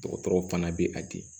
Dɔgɔtɔrɔw fana bɛ a di